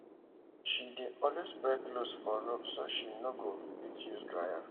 she dey always spread clothes for rope so she no go fit use dryer